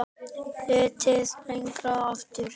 Leitað lengra aftur.